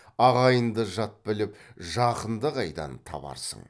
ағайынды жат біліп жақынды қайдан табарсың